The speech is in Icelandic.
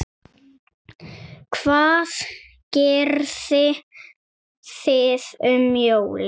Hvað gerið þið um jólin?